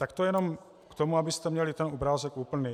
Tak to jenom k tomu, abyste měli ten obrázek úplný.